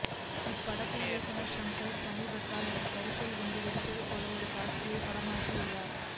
இப்படத்தின் இயக்குனர் ஷங்கர் சமீபத்தில் ஒரு காரில் குண்டு வெடிப்பது போல் ஒரு காட்சியை படமாக்கியுள்ளார்